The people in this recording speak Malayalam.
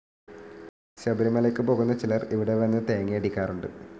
ശബരിമലയ്ക്ക് പോകുന്ന ചിലർ ഇവിടെ വന്ന് തേങ്ങയടിക്കാറുണ്ട്.